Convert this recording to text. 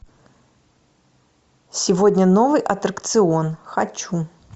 сегодня новый аттракцион хочу